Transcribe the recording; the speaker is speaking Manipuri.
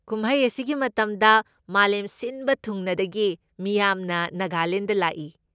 ꯀꯨꯝꯍꯩ ꯑꯁꯤꯒꯤ ꯃꯇꯝꯗ ꯃꯥꯂꯦꯝ ꯁꯤꯟꯕ ꯊꯨꯡꯅꯗꯒꯤ ꯃꯤꯌꯥꯝꯅ ꯅꯥꯒꯥꯂꯦꯟꯗ ꯂꯥꯛꯏ꯫